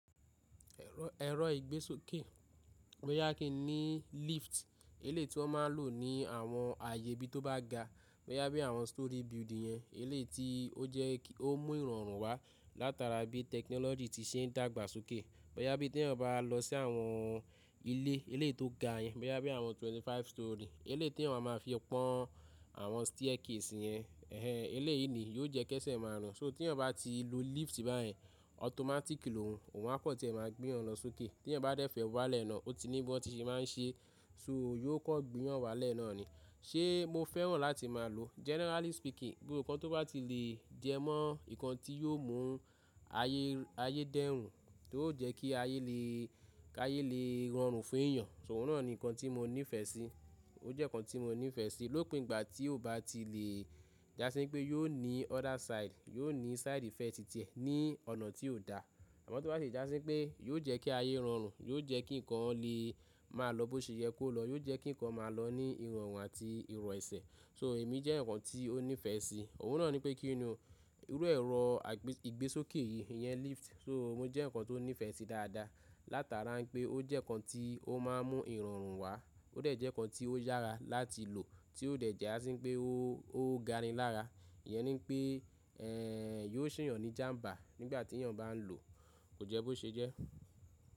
Ẹ̀rọ ìgbésókè, bóyá kin ní lift elé ti wọ́n máa ń lò ní àwọn ààyè bí tó bá ga, bóyá bí àwọn storey building yẹn elé ti o jẹ́ kí ó mú ìrọ̀rùn wá látara bí technology ti se ń dàgbà sókè. Bóyá bí tí ènìyàn bá lọ sí àwọn ilé, ilé tó ga yẹn, bóyá bí àwọn twenty five storey, elé tí èwọ̀n a máa fi pọ́n àwọn staircase yẹn, ẹhẹ elé yìí ni yóò jẹ́ kẹ́sẹ̀ máa rùn. So tí ènìyàn bá ti lo lift báyìí, ọtọmátíkì lóun, òun máa kọ̀ tí ẹ máa gbé òun lọ sókè. Tí ènìyàn bá dẹ́fẹ̀ẹ́ wá lẹ̀ náà, ó ti ní bó tí ṣe máa ń ṣe, so yóò kọ́ gbé yàn wá lẹ́ẹ́nà ni. Ṣé mo fẹ́ràn láti máa lò ó́? Generally speaking, bí òǹkọ̀ tó bá ti le jẹ mọ́ nǹkan tí yóò mú ayé, ayé dẹ́rùn, tó ó jẹ́ kí ayé lè, kí ayé lè rọrùn fún èèyàn, so òun náà ni nǹkan tí mo nífẹ̀ẹ́ sí. Ó jẹ́ nǹkan tí mo nífẹ̀ẹ́ sí lópin ìgbà tí ó bá ti le jásí pé yóò ní other side, yóò ní side ìfẹ́ títẹ ní ọ̀nà tí ó dá. Àmọ́ tó bá jásí pé yóò jẹ́ kí ayé rọrùn, yóò jẹ́ kí nǹkan lè máa lọ bó ṣe yẹ kó lọ, yóò jẹ́ kí nǹkan máa lọ ní ìrọ̀rùn àti ìrọ̀ ẹsẹ̀, so èmi jẹ́ nǹkan tí ó nífẹ̀ẹ́ sí. Òun náà ni pé kí ni irú ẹ̀rọ ìgbésókè yìí, ìyẹn lift, so ó jẹ́ nǹkan tó nífẹ̀ẹ́ sí dáadáa látara pé ó jẹ́ nǹkan tí ó máa ń mú ìrọ̀rùn wá, ó dẹ̀ jẹ́ nǹkan tí ó yára láti lò tí ó dẹ̀ jásí pé ó, ó ga ni lára. Ìyẹn ni pé, ẹhẹ ẹhẹ yóò ṣèyàn ní jàmbá nígbà tí èèyàn bá n lọ, kò jẹ́ bó ṣe jẹ́.